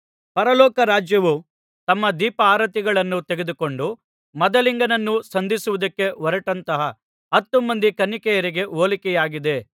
ಪರಲೋಕ ರಾಜ್ಯವು ತಮ್ಮ ದೀಪಾರತಿಗಳನ್ನು ತೆಗೆದುಕೊಂಡು ಮದಲಿಂಗನನ್ನು ಸಂಧಿಸುವುದಕ್ಕೆ ಹೊರಟಂತಹ ಹತ್ತು ಮಂದಿ ಕನ್ನಿಕೆಯರಿಗೆ ಹೋಲಿಕೆಯಾಗಿದೆ